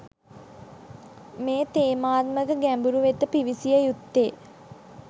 මේ තේමාත්මක ගැඹුර වෙත පිවිසිය යුත්තේ.